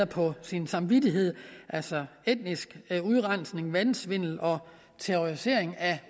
på sin samvittighed altså etnisk udrensning valgsvindel og terrorisering af